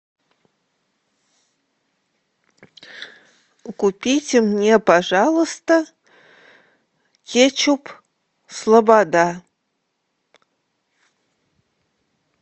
купите мне пожалуйста кетчуп слобода